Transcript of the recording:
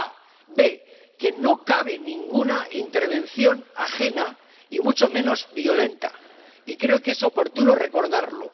En segundo lugar, que no cabe ninguna intervención ajena y mucho menos violenta, y creo que es oportuno recordarlo.